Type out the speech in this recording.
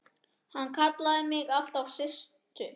Hann kallaði mig alltaf Systu.